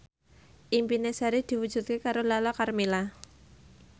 impine Sari diwujudke karo Lala Karmela